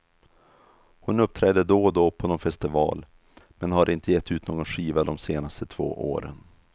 Hon uppträder då och då på nån festival, men har inte gett ut någon skiva de senaste två åren.